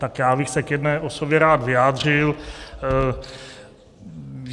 Tak já bych se k jedné osobě rád vyjádřil.